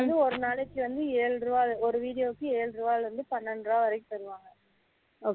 ஒரு நாளைக்கு வந்து ஏழு ரூபாய் ஒரு video க்கு ஏழு ரூபாய் ல இருந்து பன்னிரண்டு ரூபாய் வரைக்கும் தருவாங்க